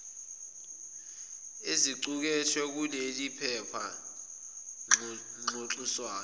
ezicukethwe kuleliphepha ngxoxiswano